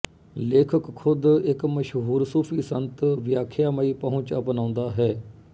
ਲੇਖਕ ਖ਼ੁਦ ਇੱਕ ਮਸ਼ਹੂਰ ਸੂਫੀ ਸੰਤ ਵਿਆਖਿਆਮਈ ਪਹੁੰਚ ਅਪਣਾਉਂਦਾ ਹੈ